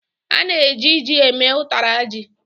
A na-eji ji eme ụtara ji.